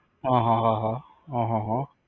હા હા હા હા